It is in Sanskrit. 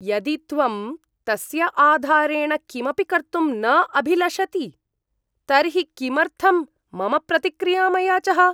यदि त्वं तस्य आधारेण किमपि कर्तुं न अभिलषति तर्हि किमर्थं मम प्रतिक्रियाम् अयाचः?